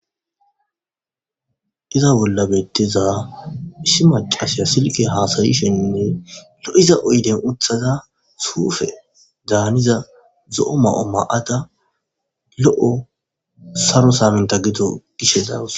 Iza bolla beetiza issi maccasiya silkke hasa'ishenne lo'iza oyde uttada suufedaniza zo'o mayo mayada lo'o saro saminta gido gashe dawus.